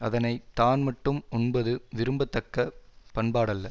அதனை தான் மட்டும் உண்பது விரும்ப தக்க பண்பாடல்ல